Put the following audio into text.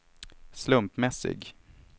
slumpmässig